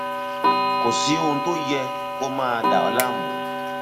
kò sí ohun tó yẹ kó máa dà ọ láàmú